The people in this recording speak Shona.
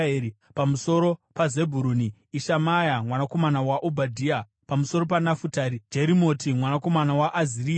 pamusoro paZebhuruni: Ishimaya mwanakomana waObhadhia; pamusoro paNafutari: Jerimoti mwanakomana waAzirieri;